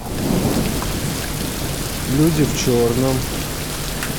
люди в черном